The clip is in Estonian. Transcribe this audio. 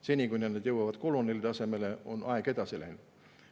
Seni kui nad jõuavad koloneli tasemele, on aeg edasi läinud.